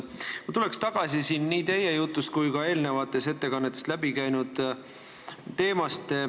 Ma tulen tagasi nii teie jutust kui ka eelnevatest ettekannetest läbi käinud teema juurde.